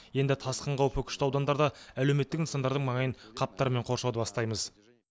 енді тасқын қаупі күшті аудандарда әлеуметтік нысандардың маңайын қаптармен қоршауды бастаймыз